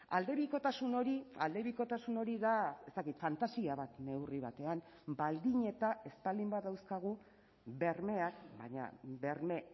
aldebikotasun hori aldebikotasun hori da ez dakit fantasia bat neurri batean baldin eta ez baldin badauzkagu bermeak baina berme